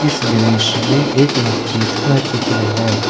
इस दृश्य में एक मस्जिद का चित्र है।